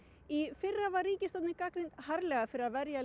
í fyrra var ríkisstjórnin gagnrýnd harðlega fyrir að verja